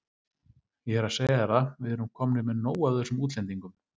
Ég er að segja þér það, við erum komnir með nóg af þessum útlendingum.